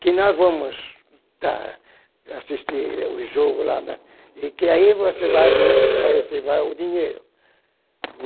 que nós vamos, assistir o jogo lá na, e que aí você vai vir para receber o dinheiro.